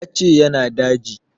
Ya ce ya na daji